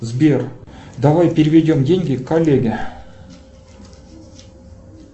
сбер давай переведем деньги коллеге